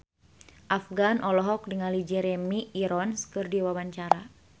Afgan olohok ningali Jeremy Irons keur diwawancara